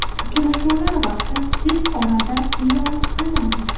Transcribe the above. Uchrashuvlar vaqti tez orada e’lon qilinadi.